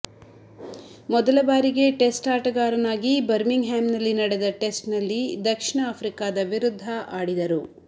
ಮೊದಲ ಬಾರಿಗೆ ಟೆಸ್ಟ್ ಆಟಗಾರನಾಗಿ ಬರ್ಮಿಂಗ್ ಹ್ಯಾಮ್ನಲ್ಲಿ ನಡೆದ ಟೆಸ್ಟ್ನಲ್ಲಿ ದಕ್ಷಿಣ ಆಫ್ರಿಕದ ವಿರುದ್ಧ ಆಡಿದರು